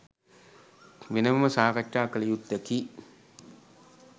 වෙනමම සාකච්ඡා කළ යුත්තකි.